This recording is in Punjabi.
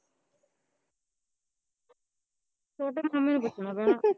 ਛੋਟੇ ਮਾਮੇ ਨੂੰ ਪੁੱਛਣ ਪੈਣਾ